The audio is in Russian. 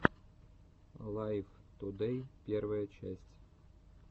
лайв тудэй первая часть